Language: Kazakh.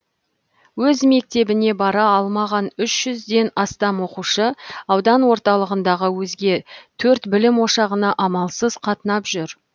өз мектебіне бара алмаған үш жүзден астам оқушы аудан орталығындағы өзге төрт білім ошағына амалсыз қатынап жүр